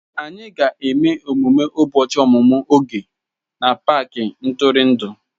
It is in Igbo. Anyị ga-eme emume ụbọchị ọmụmụ Oge na paaki ntụrụndụ.